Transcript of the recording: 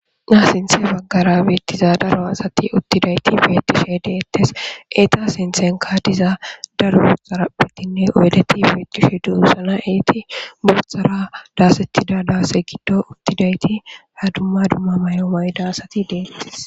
Ha sinthe baggara beettiza daro asati uttidayti beettishe deettes. eeta sinthenka diza daro bootha xaraphetinne oydeti beetishe doosana eeti boothara daasettida daase giddo uttidayti ha dumma dumma may7o mayida asati deettes.